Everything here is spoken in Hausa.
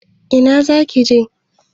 Ina zaki je?